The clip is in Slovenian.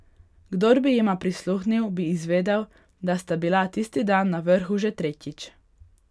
Kdor bi jima prisluhnil, bi izvedel, da sta bila tisti dan na vrhu že tretjič.